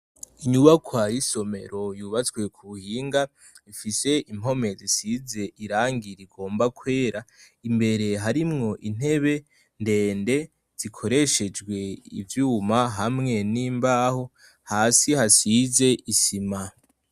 Inyubakwa y'isomero yubatswe k'ubuhinga ifise impome zisize irangi rigomba kwera, imbere harimwo intebe ndende zikoreshejwe ivyuma hamwe n'imbaho, hasi hasize isima.